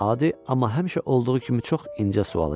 Adi, amma həmişə olduğu kimi çox incə sual idi.